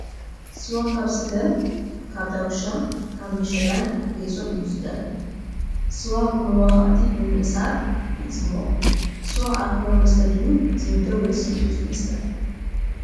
ስዋ ካብ ስገም ካብ ዳጉሻ ካብ ምሸላን ጌሶን እዩ ዝዳሎ። ስዋ ብመብኳዕትን ብምእሳርን ይፅሞቅ። ስዋ ኣልኮላዊ መስተ ዲዩ ዝምደብ ወይስ ልስሉስ መስተ ?